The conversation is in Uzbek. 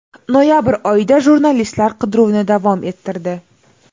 Noyabr oyida jurnalistlar qidiruvni davom ettirdi.